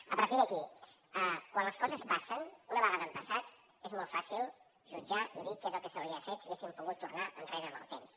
a partir d’aquí quan les coses passen una vegada han passat és molt fàcil jutjar i dir què és el que s’hauria fet si haguéssim pogut tornar enrere en el temps